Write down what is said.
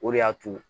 O de y'a to